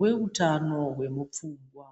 weutano wemu pfungwa.